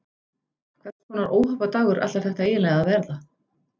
Hvers konar óhappadagur ætlar þetta eiginlega að verða?